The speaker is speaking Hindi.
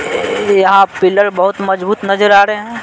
यहाँ पिलर बहुत मजबूत नजर आ रहे हैं।